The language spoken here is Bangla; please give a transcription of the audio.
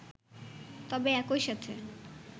তবে একইসাথে